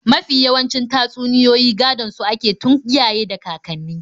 Mafi yawancin tatsuniyoyi gadon su ake tun iyaye da kakanni.